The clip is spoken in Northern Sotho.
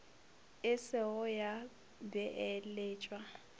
e se go ya beeletšwa